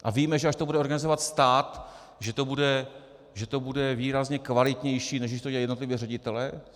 A víme, že až to bude organizovat stát, že to bude výrazně kvalitnější, než když to dělají jednotliví ředitelé?